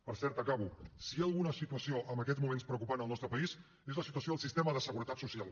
per cert acabo si hi ha alguna situació en aquests moments preocupant al nostre país és la situació del sistema de seguretat social